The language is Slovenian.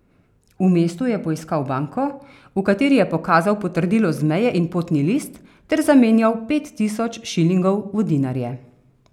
V mestu je poiskal banko, v kateri je pokazal potrdilo z meje in potni list ter zamenjal pet tisoč šilingov v dinarje.